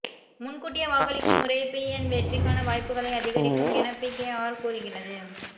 முன் கூட்டியே வாக்களிக்கும் முறை பிஎன் வெற்றிக்கான வாய்ப்புக்களை அதிகரிக்கும் என பிகேஆர் கூறுகிறது